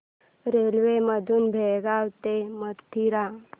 railway मधून बेळगाव ते मथुरा